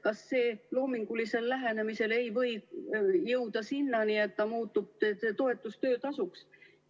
Kas loomingulisel lähenemisel ei või jõuda sinnani, et see toetus muutub töötasuks?